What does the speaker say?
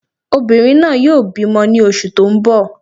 Obìnrin náà yóò bímọ ní oṣù tó n bọ̀